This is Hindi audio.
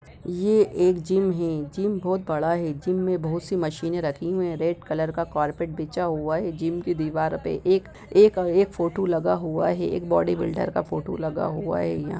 ये एक जिम हैं। जिम बहुत बड़ा है। जिम में बहुत सी मशीने रखी हुई हैं। रेड कलर का कारपेट बिछा हुआ है जिम की दीवार पे एक-एक एक फोटो लगा हुआ है। एक बॉडी बिल्डर का फोटो लगा हुआ है यहाँ |